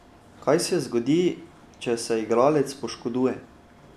Kaj se zgodi, če se igralec poškoduje?